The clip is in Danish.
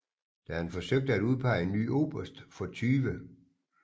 Da han forsøgte at udpege en ny oberst for 20